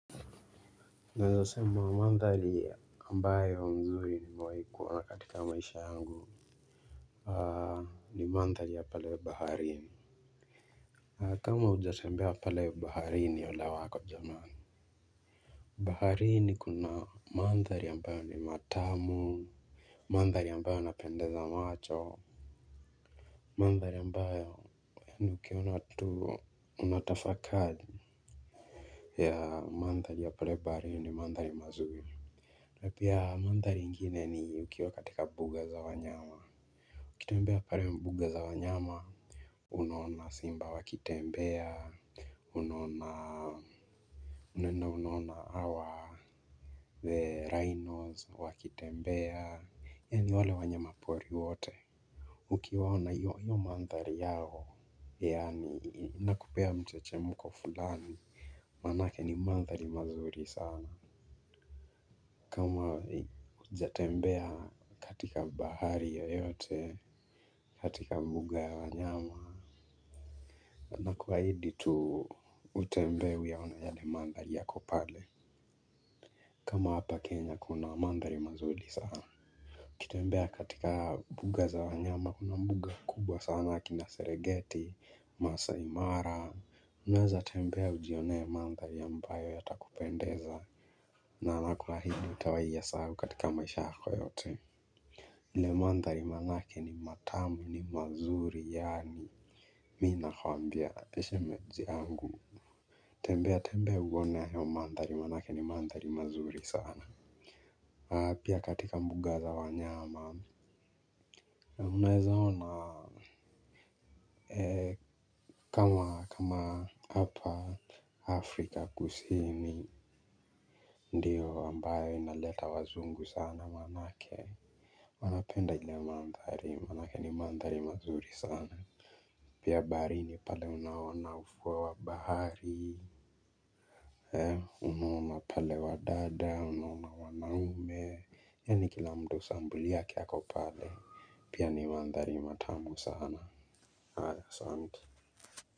Naeza sema mandhari ambayo mzuri nimewai kuwa katika maisha yangu. Ni mandhari ya pale baharini. Kama hujatembea pale baharini ole wako jamani. Baharini kuna mandhari ambayo ni matamu. Mandhari iambayo yanapendeza macho. Mandhari ambayo yani ukiona tu unatafakari ya mandhari ya pale baharini mandhari mazuri na pia mandhari ingine ni ukiwa katika mbuga za wanyama. Ukitembea pale mbuga za wanyama. Unaona simba wakitembea. Unaona unaona unuona hawa The rhinos wakitembea. Yani wale wanyama pori wote. Ukiwaona hiyo mandhari yao. Yani inakupea mchechemko fulani. Manake ni mandhari mazuri sana. Kama hujatembea katika bahari yoyote, katika mbuga ya wanyama. Na kuahidi tu utembee uyaone yale mandhari yako pale. Kama hapa Kenya kuna mandhari mazuri sana ukitembea katika mbuga za wanyama kuna mbuga kubwa sana kina seregeti, masaimara. Unaeza tembea ujionee mandhari ambayo yatakupendeza. Na na kuahidi hutawahi yasahau katika maisha yako yote. Ile mandhari manake ni matamu ni mazuri yaani Mii nakwambia she manzi yangu. Tembea tembea uone hayo mandhari manake ni mandhari mazuri sana. Pia katika mbuga za wanyama. Unaeza ona kama hapa Afrika kusini. Ndiyo ambayo inaleta wazungu sana manake. Wanapenda ile mandhari manake ni mandhari mazuri sana. Pia baharini pale unaona ufuo wa bahari He unaona pale wa dada unaona wanaume. Yani kila mtu sampuli yake ako pale Pia ni mandhari matamu sana haya asante.